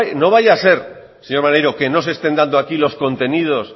no vaya a ser señor maneiro que no se estén dando aquí los contenidos